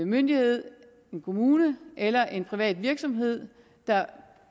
myndighed en kommune eller en privat virksomhed der